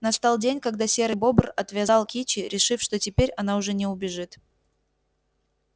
настал день когда серый бобр отвязал кичи решив что теперь она уже не убежит